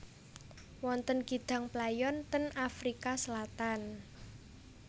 Wonten kidang playon ten Afrika Selatan